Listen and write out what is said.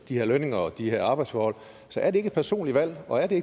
de her lønninger og de her arbejdsforhold så er det ikke et personligt valg og er det